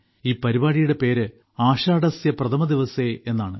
ഈ പരിപാടിയുടെ പേര് ആഷാഢസ്യപ്രഥമദിവസേ എന്നാണ്